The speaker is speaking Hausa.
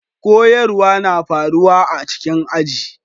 Koyarswa na faruwa a cikin aji.